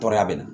Tɔɔrɔya bɛ na